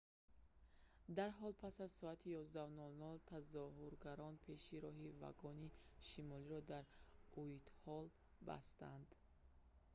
дарҳол пас аз соати 11:00 тазоҳургарон пеши роҳи вагони шимолиро дар уайтҳолл бастанд